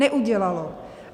Neudělalo.